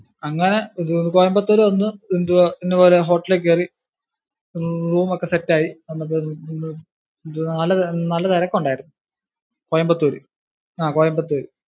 അങ്ങിനെ കോയമ്പത്തൂര് വന്നു എന്തുവാ ഇന്നപോലെ hotel ഇൽ കയറി room ഒക്കെ set ആയി വന്നപ്പോഴേക്കും നല്ല തിരക്കൊണ്ടായിരുന്നു കോയമ്പത്തൂര് ആ കോയമ്പത്തൂര്.